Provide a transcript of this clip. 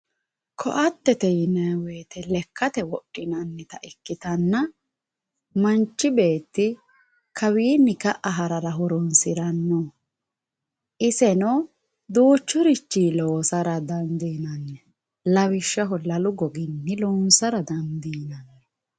Koatete yinayii woyite lekate wodhinanita ikitanna manchi betti kawinni ka"a harara horosirano iseno duchurichi lonsara dandinanni lawishaho lalu goginni lonsara dandinanni